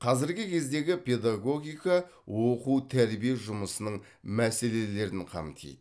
қазіргі кездегі педагогика оқу тәрбие жұмысының мәселелерін қамтиды